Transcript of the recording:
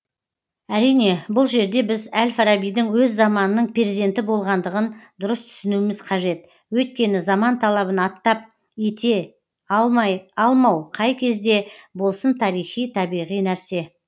әрине бұл жерде біз әл фарабидің өз заманының перзенті болғандығын дұрыс түсінуіміз қажет өйткені заман талабын аттап ете алмай алмау қай кезде болсын тарихи табиғи нәрсе